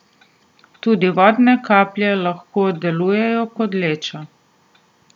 Tudi vodne kaplje lahko delujejo kot leča.